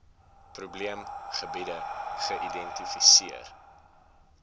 probeem gebiede geïdentifiseer